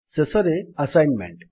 ଶେଷରେ ଆସାଇନମେଣ୍ଟ୍